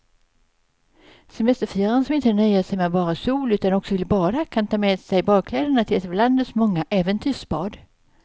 Semesterfiraren som inte nöjer sig med bara sol utan också vill bada kan ta med sig badkläderna till ett av landets många äventyrsbad.